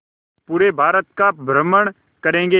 पूरे भारत का भ्रमण करेंगे